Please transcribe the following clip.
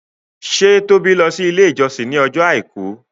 ṣe Toba lọ si ile ijọsin ní Ọjọ́ aìkú?